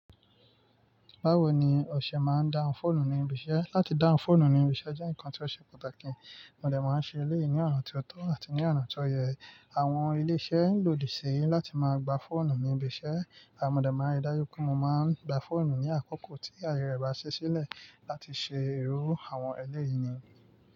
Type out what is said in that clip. Báwo ni ọṣẹ máa ń dáhùn fóònù ní ibi iṣẹ́? Láti dáhùn fóònù ní ibi iṣẹ́ jẹ́ nǹkan tí ó ṣe pàtàkì. Òde máa ń ṣe éleyi ní ọ̀àn tí ó tọ́ àti ní ọ̀nà tó yẹ. Àwọn ilé-iṣẹ́ lòdì sí láti máa gba fóònù ní ibi iṣẹ́. Modẹ máa n rí dájú pé mo máa ń gba fóònù ní àkókò tí aye rẹ bá ṣí sílẹ̀ láti ṣe ìró àwọn ẹlẹ́yini.